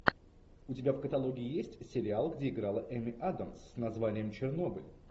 у тебя в каталоге есть сериал где играла эми адамс с названием чернобыль